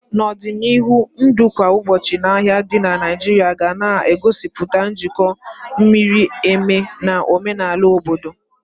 N'ọdịnihu, ndụ kwa ụbọchị na ahia di na Naijiria ga na-egosipụta njikọ miri emi na omenala obodo.